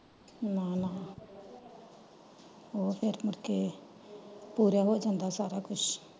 ਨਾ ਨਾ ਉਹ ਫੇਰ ਮੁੜਕੇ ਪੂਰਾ ਹੋ ਜਾਂਦਾ ਸਾਰਾ ਕੁਛ।